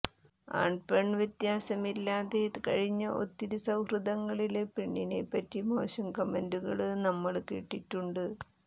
ആണ്പെണ്വ്യത്യാസമില്ലാതെ കഴിഞ്ഞ ഒത്തിരി സൌഹൃദങ്ങളില് പെണ്ണിനെപ്പറ്റി മോശം കമന്റുകള് നമ്മള് കേട്ടിട്ടുണ്ട്